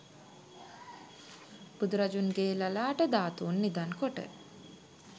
බුදුරදුන්ගේ ලලාට ධාතූන් නිධන් කොට